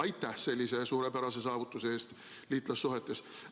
Aitäh sellise suurepärase saavutuse eest liitlassuhetes!